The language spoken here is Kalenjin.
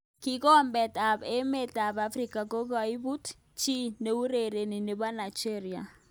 Kikombet ab emet ab Afrika kokoibut chi neurereni nebo Nigeria.